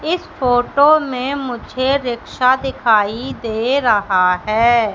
इस फोटो में मुझे रिक्शा दिखाई दे रहा है।